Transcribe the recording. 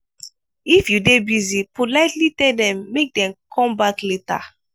if you dey busy politely tell them make dem conme back later